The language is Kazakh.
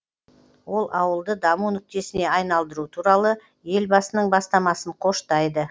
ол ауылды даму нүктесіне айналдыру туралы елбасының бастамасын қоштайды